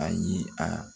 Ayi a